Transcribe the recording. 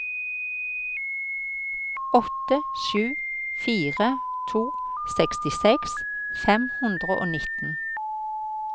åtte sju fire to sekstiseks fem hundre og nitten